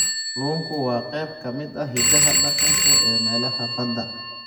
Kalluunku waa qayb ka mid ah hiddaha dhaqanka ee meelaha badda.